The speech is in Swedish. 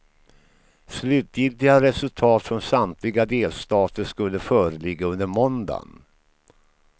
Slutgiltiga resultat från samtliga delstater skulle föreligga under måndagen.